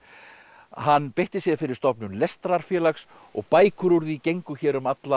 hann beitti sér fyrir stofnun og bækur úr því gengu hér um alla